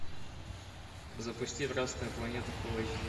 запусти красная планета фул эйч ди